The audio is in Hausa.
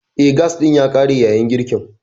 Eh, gas ɗin ya ƙare a yayin girkin.